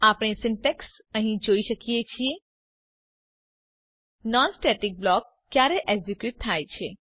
આપણે સીન્ટેક્ષ અહીં જોઈ શકીએ છીએ નોન સ્ટેટિક બ્લોક ક્યારે એક્ઝિક્યુટ થાય છે